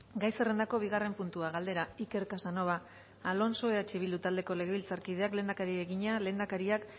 gai zerrendako bigarren puntua galdera iker casanova alonso eh bildu taldeko legebiltzarkideak lehendakariari egina lehendakariak